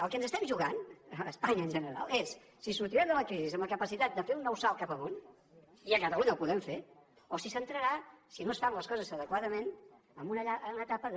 el que ens estem jugant a espanya en general és si sortirem de la crisi amb la capacitat de fer un nou salt cap amunt i a catalunya el podem fer o si s’entrarà si no es fan les coses adequadament en una llarga etapa de